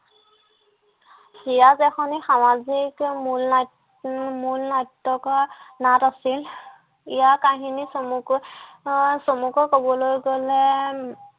ইয়াত এখনি সামাজিক মুল নাট্য উম মূল নাট্যকৰ নাট আছিল ইয়াৰ কাহিনী চমুকৈ আহ চমুকৈ কবলৈ গ'লে